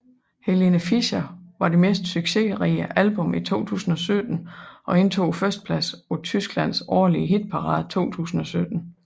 Helene Fischer var det mest succesrige album i 2017 og indtog førstepladsen på Tyskland årlige hitparade 2017